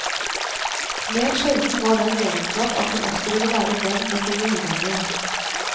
Mer sjelden var den egenskap at hun også ville være venn med sine uvenner.